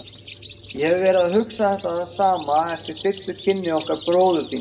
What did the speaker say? Ég hef verið að hugsa þetta sama eftir fyrstu kynni okkar bróður þíns.